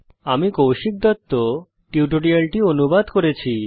আমি কৌশিক দত্ত এই টিউটোরিয়ালটি অনুবাদ করেছি